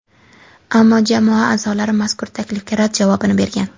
Ammo jamoa a’zolari mazkur taklifga rad javobini bergan.